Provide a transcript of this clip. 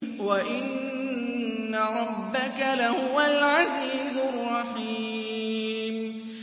وَإِنَّ رَبَّكَ لَهُوَ الْعَزِيزُ الرَّحِيمُ